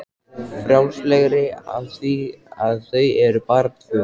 Frjálslegri af því að þau eru bara tvö.